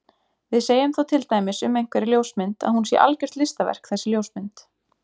Við segjum þá til dæmis um einhverja ljósmynd að hún sé algjört listaverk þessi ljósmynd.